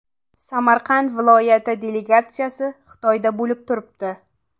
Samarqand viloyati delegatsiyasi Xitoyda bo‘lib turibdi.